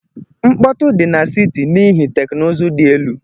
Mkpọtụ di na siti n'ihi teknụzụ dị elu.